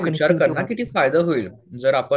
विचार कर ना की फायदा होईल जर आपण